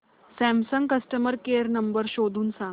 Samsung customer care number शोधून सांग